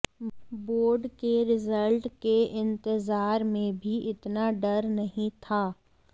board के result के इंतजार में भी इतना डर नहीं था